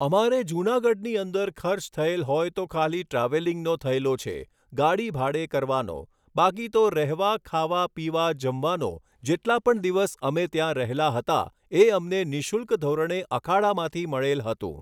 અમારે જુનાગઢની અંદર ખર્ચ થયેલ હોય તો ખાલી ટ્રાવેલિંગનો થયેલો છે ગાડી ભાડે કરવાનો બાકી તો રહેવા ખાવા પીવા જમવાનો જેટલા પણ દિવસ અમે ત્યાં રહેલા હતા એ અમને નિઃશુલ્ક ધોરણે અખાડામાંથી મળેલ હતું